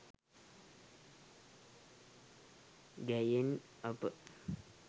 ගැයෙන අප